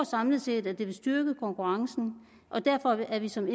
samlet set vil styrke konkurrencen og derfor er vi som